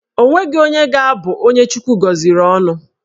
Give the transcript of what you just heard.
Onweghi onye ga-abụ onye Chukwu gọziri ọnụ